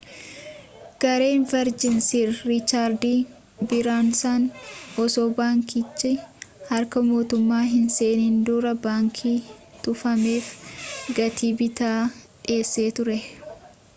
gareen verjin' sir riichaardi biraansan osoo baankichi harka mootummaa hin seenin dura baankii tufameef gatii bittaa dhiyeessee ture